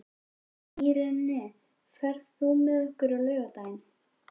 Irene, ferð þú með okkur á laugardaginn?